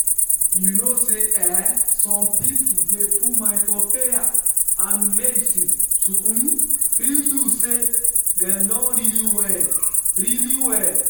you know say eeh some people dey put mind for payer and medicine to um really feel say dem don really well. really well.